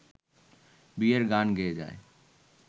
বিয়ের গান গেয়ে যায়